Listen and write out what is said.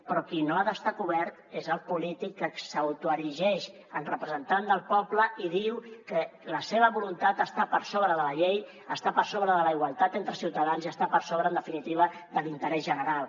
però qui no ha d’estar cobert és el polític que s’autoerigeix en representant del poble i diu que la seva voluntat està per sobre de la llei està per sobre de la igualtat entre ciutadans i està per sobre en definitiva de l’interès general